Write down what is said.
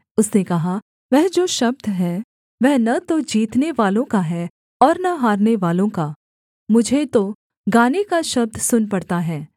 उसने कहा वह जो शब्द है वह न तो जीतनेवालों का है और न हारनेवालों का मुझे तो गाने का शब्द सुन पड़ता है